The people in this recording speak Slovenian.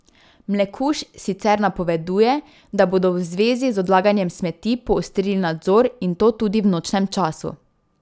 Mlekuž sicer napoveduje, da bodo v zvezi z odlaganjem smeti poostrili nadzor in to tudi v nočnem času.